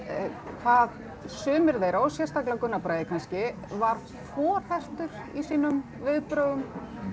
hvað sumir þeirra og sérstaklega Gunnar Bragi kannski var forhertur í sínum viðbrögðum